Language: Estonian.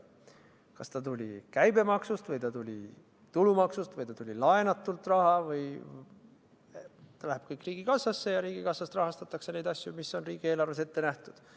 Ükskõik, kas ta tuli käibemaksust või tulumaksust või laenust – ta läheb tervenisti riigikassasse ja riigikassast rahastatakse neid asju, mis on riigieelarves ette nähtud.